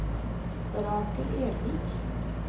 Rakel Ervik